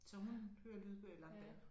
Så hun hører lydbøger i lange baner